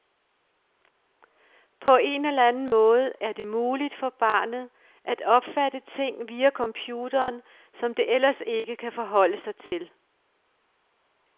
På en eller anden måde er det muligt for barnet at opfatte ting via computeren, som det ellers ikke kan forholde sig til.